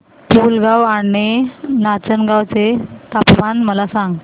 पुलगांव आणि नाचनगांव चे तापमान मला सांग